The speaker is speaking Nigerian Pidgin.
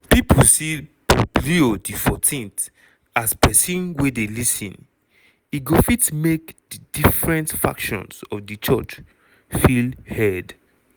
pipo see pope leo xiv as pesin wey dey lis ten e go fit make di different factions of di church feel heard.